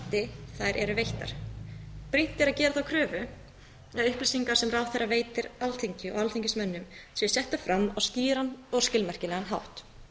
eru veittar brýnt er að gera þá kröfu að upplýsingar sem ráðherra veitir alþingi og alþingismönnum séu settar fram á skýran og skilmerkilegan hátt